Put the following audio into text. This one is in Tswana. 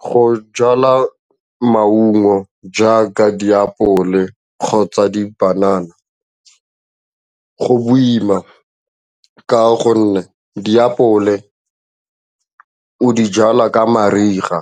Go jala maungo jaaka diapole kgotsa dipanana go boima ka gonne diapole o di jala ka mariga